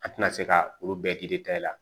An tɛna se ka olu bɛɛ la